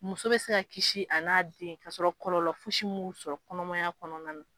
Muso bɛ se ka kisi a n'a den ka sɔrɔ kɔlɔlɔ fosi min sɔrɔ kɔnɔmaya kɔnɔna na.